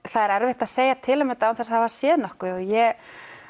það er erfitt að segja til um þetta án þess að hafa séð nokkuð og ég